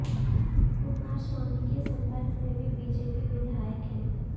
कुमारस्वामी के संपर्क में भी बीजेपी विधायक हैं